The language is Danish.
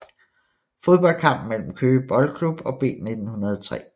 Fodboldkamp mellem Køge Boldklub og B1903